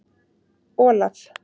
Olaf